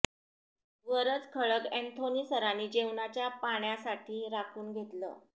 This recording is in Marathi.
वरच खळग ऍंथोनी सरानी जेवणाच्या पाण्यासाठी राखून घेतलं